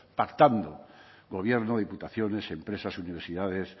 pactando gobierno diputaciones empresas universidades